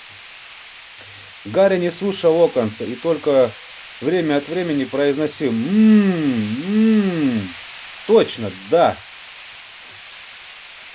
гарри не слушал локонса и только время от времени произносил мм мм точно да